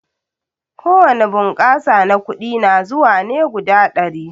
Ko wani bunƙasa na kuɗi na zuwa ne guda ɗari.